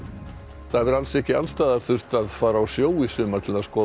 ekki alls staðar þurft að fara á sjó í sumar til að skoða hvali